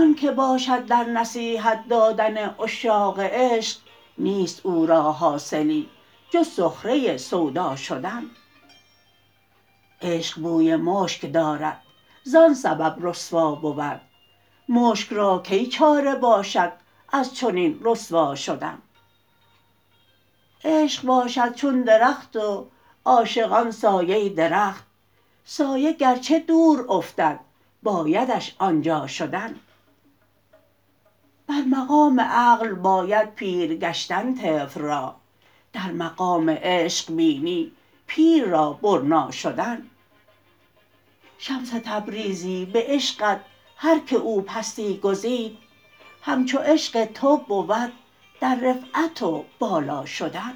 و آنک باشد در نصیحت دادن عشاق عشق نیست او را حاصلی جز سخره سودا شدن عشق بوی مشک دارد زان سبب رسوا بود مشک را کی چاره باشد از چنین رسوا شدن عشق باشد چون درخت و عاشقان سایه درخت سایه گرچه دور افتد بایدش آن جا شدن بر مقام عقل باید پیر گشتن طفل را در مقام عشق بینی پیر را برنا شدن شمس تبریزی به عشقت هر کی او پستی گزید همچو عشق تو بود در رفعت و بالا شدن